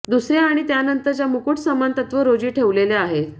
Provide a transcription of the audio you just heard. दुसऱ्या आणि त्यानंतरच्या मुकुट समान तत्व रोजी ठेवलेल्या आहेत